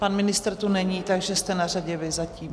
Pan ministr tu není, takže jste na řadě vy zatím.